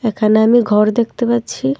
এখানে আমি ঘর দেখতে পাচ্ছি।